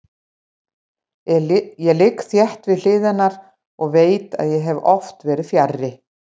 Ég ligg þétt við hlið hennar og veit að ég hef oft verið fjarri.